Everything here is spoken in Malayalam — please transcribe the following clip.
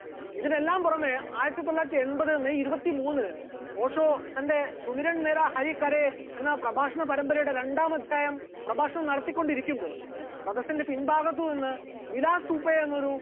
ഇതിനെല്ലാം പുറമെ ആയിരത്തിത്തൊള്ളായിരത്തി എൺപത് may ഇരുപത്തിമൂന്നിന് ഓഷോ തന്റെ സുമിറൻനിര അരിക്കാരെ എന്ന പ്രഭാഷണ പരമ്പരയുടെ രണ്ടാം അധ്യായം പ്രഭാഷണം നടത്തികൊണ്ടിരിക്കുമ്പോൾ സദസ്സിന്റെ പിൻഭാഗത്ത് നിന്ന് വിലാ തുപ്പേ എന്നൊരു